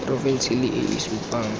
porofense le e e supang